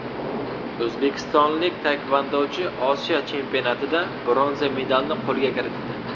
O‘zbekistonlik taekvondochi Osiyo chempionatida bronza medalni qo‘lga kiritdi.